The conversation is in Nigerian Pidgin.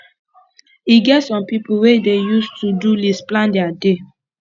e get some pipo wey dey use todo list plan their day